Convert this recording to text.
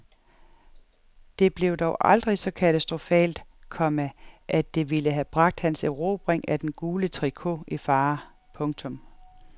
Det blev dog aldrig så katastrofalt, komma at det ville have bragt hans erobring af den gule tricot i fare. punktum